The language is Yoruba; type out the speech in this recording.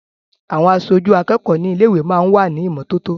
Àwọn aṣojú akẹ́kọ̀ọ́ ní ilé-ìwé máa ń wà ní ìmọ́tótó.